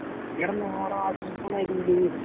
എടാ നാട അടീത്തെ നിലയില്